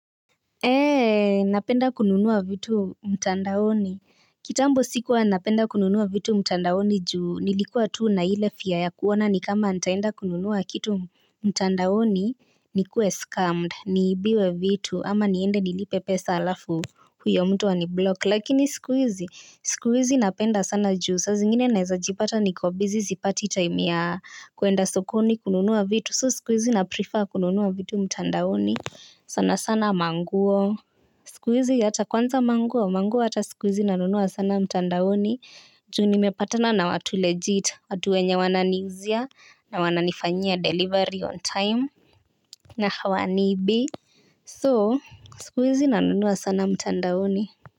Ee napenda kununua vitu mtandaoni kitambo sikuwa napenda kununua vitu mtandaoni juu nilikuwa tuu na hile fia ya kuona ni kama nitaenda kununua kitu mtandaoni ni kue scammed ni ibiwe vitu ama niende nilipe pesa alafu huyo mtu aniblok lakini sikuizi sikuizi napenda sana juu saa zingine naizajipata niko busy sipati time ya kwenda sokoni kununua vitu so sikuhizi naprefer kununua vitu mtandaoni. Sana sana manguo. Sikuhizi hata kwanza manguo, manguo hata sikuhizi nanunua sana mtandaoni. Juu ni mepatana na watu legit, watuwenye wanani uzia na wananifanyia delivery on time. Na hawanibii. So, sikuizi nanunua sana mtandaoni.